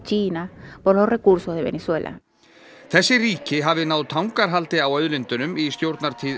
þessi ríki hafi náð tangarhaldi á auðlindunum í stjórnartíð